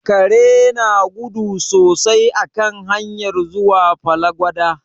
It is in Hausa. Kare na gudu sosai a kan hanyar zuwa Fallagwada.